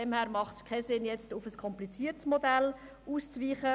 Daher macht es keinen Sinn, nun auf ein kompliziertes Modell auszuweichen.